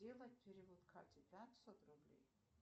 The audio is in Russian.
сделать перевод кате пятьсот рублей